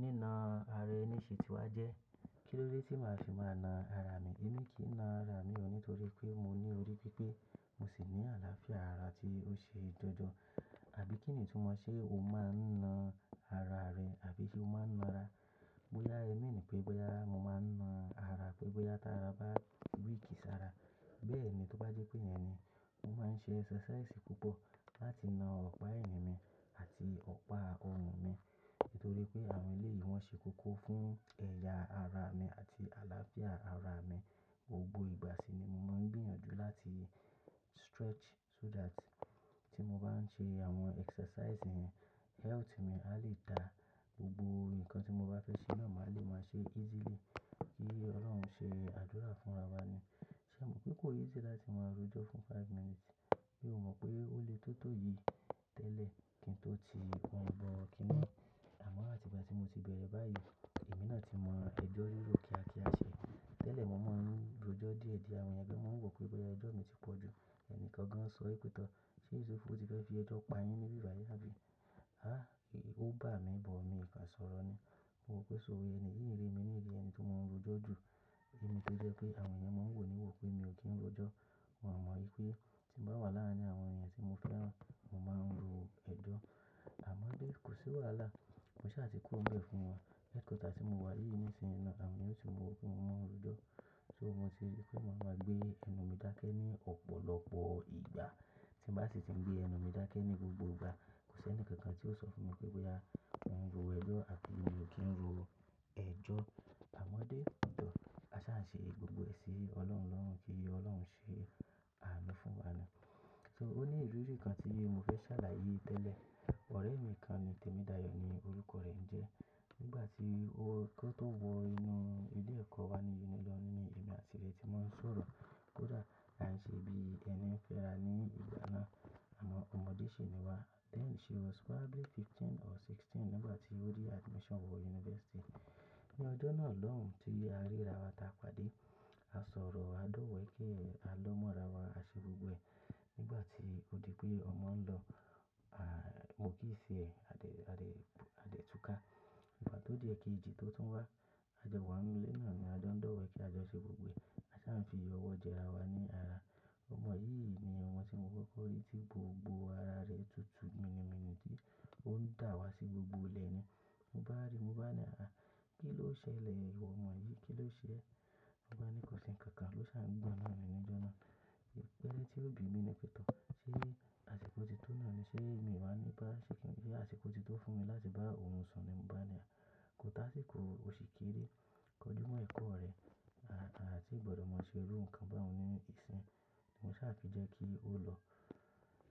Ní na ara ẹni ṣe tí wá jẹ́. Kí ló dé tí màá se máa na ara mi? Èmi kì í na ara mi o nítorí pé mo ní orí pípé mo sì ní àlàáfíà ara tí ó ṣe dandan. Àbí kìnìtúmọ̀ ṣe o máa ń na ara rẹ, àbí ṣe o máa ń na ara? Bóyá ẹ mean pé bóyá mo máa ń na ara pé bóyá t'ara bá weak sára. Bẹ́ẹ̀ ni, tó bá jẹ́ pé yẹn ni, mo máa ń ṣe exercise púpọ̀ láti na ọ̀pá ẹ̀yín mi àti ọ̀pá ọrùn mi. Nítorí pé àwọn eléyìí wọ́n ṣe kókó fún ẹ̀yà ara mi àti àlàáfíà ara mi. Gbogbo ìgbà sì ni mo máa ń gbìyànjú láti stretch so that tí mo bá ń ṣe àwọn exercise yẹn, health mi a lè dà. Gbogbo nǹkan tí mo bá fẹ́ ṣe náà, màá le máa ṣe easily. Kí Ọlọ́run ṣe àdúrà fún'ra wa ni. Ṣé mo pé kó easy láti máa rojọ fún five minutes. Mí o mọ pé ó lè tó tòyì tẹ́lẹ̀ kí n tó ti orun bọ kínni yi. Àmọ́ àti ìgbà tí mo ti bẹ̀rẹ̀ báyìí, èmi náà ti mọ ẹjọ́ rírò kíákíá ṣe. Tẹ́lẹ̀ mo máa ń rojọ́ díẹ̀díẹ̀, àwọn èèyàn gan mọ́ wò pé bóyá ẹjọ́ mi ti pọ̀ jù. Ẹni kan gan sọ pè tọ́, "Ṣé Yusuf o ti fẹ́ fi ẹjọ́ pa yín níbi bàyìí àbí?" Háà, ò bá mi but, mi o kàn sọ̀rọ̀ ni. Mo rò pé so, ẹni yìí ń rími ní'rí ẹni tó máa ń rojọ́ jù. Èmi tó jẹ́ pé àwọn ènìyàn máa ń wò níwò pé mi ò kí ń rojọ́. Wọn mọ̀ wípé tí mo bá wà láàárín àwọn ènìyàn tí mo fẹ́ràn, mo máa ń ro ẹjọ́. Àmọ́ kò sí wàhálà. Mo sá ti kúrò nbẹ fún wọn. Ìta tí mo wà yí nìsìn náà, àwọn èèyàn o tún mọ wòó pé mo máa ń rojọ́. So mo ti rí pé màá ma gbé ẹnu mi dákẹ́ ní ọ̀pọ̀lọpọ̀ ìgbà. Tí mo bá sì ti ń gbé ẹnu mi dákẹ́ ní gbogbo ìgbà, kò sí ẹnìkankan tí ó sọ fún mi pé bóyá mò ń ro ẹjọ́ àbi mi ò kí ń ro ẹjọ́. Àmọ́dé, òún tọ́, a sá n ṣe gbogbo ẹ̀ sí Ọlọ́run lọ́run kí Ọlọ́run ṣe àmì fún wa ni. So ó ní ìrírí kan tí mo fẹ́ ṣàlàyé tẹ́lẹ̀. Ọ̀rẹ́ mi kan ni, Temidayo ni orúkọ rẹ ń jẹ́. Nígbà tí ó kó tó wọ inú ilé ẹ̀kọ́ wa ni Unilag ni èmi àti rẹ̀ ti máa ń sọ̀rọ̀. Kódà à ń ṣe bí ẹni ń fẹ́ra ní ìgbà náà. Àmó ọmọdé ṣì ni wa. Then she was probably fifteen or sixteen nígbà tí ó rí admission wọ university. Ní ọdún náà lóhùn tí a ríra wa ta pàdé. A sọ̀rọ̀, a dówèéké, a lọ mọ́ ra wa, a ṣe gbogbo ẹ̀. Nígbà tí ó di pé ọmọ ń lọ, à, mo kiss ẹ̀, a dé, a dé, a dé túká. Ìgbà tó di ẹ̀ẹ̀kẹjì tó tún wá, a jowá ń'nú lé náà ni a jo n dówèéké, a jọ n ṣe gbogbo ẹ̀. A sá fi ọwọ́ jẹra wa ní ara. Ọmọ yìí ni ọmọ tí mo kọ́kọ́ rí tí gbogbo ara rẹ̀ tutù mini mini tí ó ń dà wá sí gbogbo ilẹ̀ ni. Mo bá ríi, mo bá ni, "Àá, kí ló ṣẹlẹ̀? Ìwọ mọ̀ ọ́n yìí, kí ló ṣe e?" Ló bá ni kò sí ǹkankan, ló sá ń gbọ̀n náani níjó náà. Ìbeẹ́rẹ́ tí ó bì mí ni pẹ̀ tọ́. Ṣé àsìkò ti tó náà ni ṣé mi wáa ní bá ṣé kìn, ṣé àsìkò ti tó fún mi láti bá òun sùn ni? Mo bá ni, "À, kó tá síkò, o ṣì kéré. Kọjú mọ́ ẹ̀kọ́ rẹ. À ti gbọdọ̀ máa ṣe irú nǹkan báun ní ìsìn." Mo sá fi jẹ́ kí ó lọ.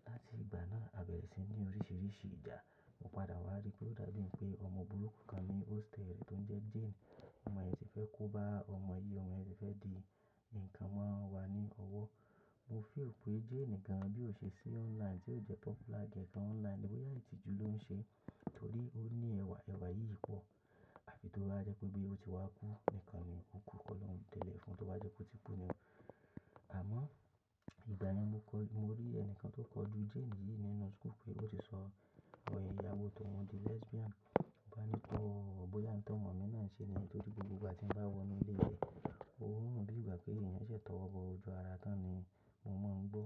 Láti ìgbà náà, àbẹ̀rẹ̀ sí ní oríṣiríṣi ìjà. Mo padà wá rí pé ó dàbí pé ọmọ burúkú kan ní hostel rẹ̀ tó ń jẹ́ Jane. Ọmọ yìí ti fẹ́ kó bá ọmọ yìí, ọmọ yìí ti fẹ́ di ǹkan mọ́ wa ní ọwọ́. Mo feel pé Jane gan, bí ó ṣe sí online, tí ó jẹ́ popular gan online, bóyá ìtìju ló ń ṣe. Torí ó ní ẹ̀wà, ẹ̀wà yìí pọ̀. À fi tó bá jẹ́ pé bí ó ti wá kú nìkan ni ó kú. Ọlọ́run tẹ̀lé fún tó bá jẹ́ pé tí kú ni o. Àmọ́, ìgbà yen mo kọ́, mo rí ẹnìkan tó kọjú Jane yìí nínú school pé ó ti sọ òye ìyàwó tóun di lesbian. Mo bá ni, "Tọ́, bóyá ń t'ọ́mọ mi náà n ṣe ni?" Torí gbogbo ìgbà tí ń bá wọ inú ilé rẹ̀, ó ń rùn bí ìgbà pé ènìyàn ṣẹ̀ tọ́wọ́bọ́ ojú ara tán ni. Mo mọ̀ ń gbọ́.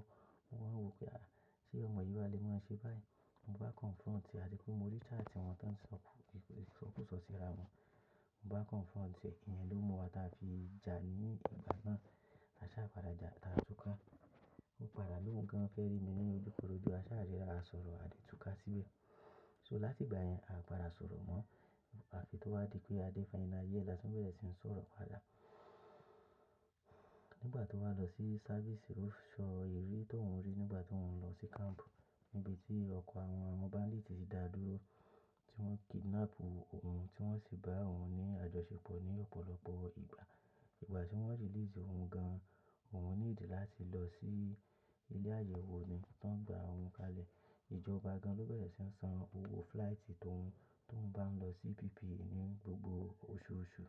Mo máa ń wò pé à, ṣé ọmọ yìí wá lè máa ṣe báyìí? Mo bá confront, àti pé mo rí chat wọn tó ń sọ, ìsọkúsọ síra wọn. Mo bá confront pé ìyẹn ló mú wa táa fi jà ní ìgbà náà. A sá padà jà, táa túká. Ó padà lóhùn gan fé rí mi ní ojúkorojo. A sá ríra, a sọ̀rọ̀, a dé túká síbẹ̀. So láti ìgbà yẹn, a padà sọ̀rọ̀ mọ́. À fi tó wá di pé a dé final year la tún bẹ̀rẹ̀ sí ń sọ̀rọ̀ padà. Nígbà tó wá lọ sí service ó so ìrírí tóùn rí nígbà tó ń lọ sí camp. Nibè tí ọkọ̀ àwọn armed bandit ti dà dúró, tí wọ́n kidnap òun, tí wọ́n sì bá òun ní àjọṣepọ̀ ní ọ̀pọ̀lọpọ̀ ìgbà. Ìgbà tí wọ́n release òun gan, òun need láti lọ sí ilé àyẹ̀wò ni tó ń gba òun kalẹ̀. Ìjọba gan ló bẹ̀rẹ̀ sí ń san owó flight tó ń, tó ń bá ń lọ sí PPA ní gbogbo oṣooṣù.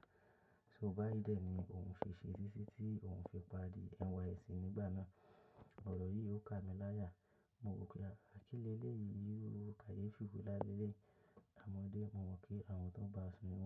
So báyìí dé ni òun fi ṣe ṣe títí òun fi pari NYSC nígbà náà. Ọ̀rọ̀ yìí ó ká mi láyà. Mo wò pé à kílẹ̀lẹ̀ yìí yóò kayeefi nlá lẹ́lẹ̀yi. Àmọ́dé, mo mọ̀ pé àwọn tó ń bá sun ni wọ́n.